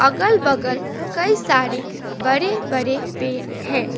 अगल बगल कई सारे बड़े बड़े पेड़ है।